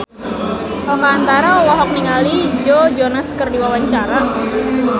Oka Antara olohok ningali Joe Jonas keur diwawancara